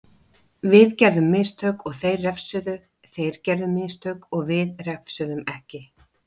Við gerðum mistök og þeir refsuðu, þeir gerðu mistök við refsuðum ekki.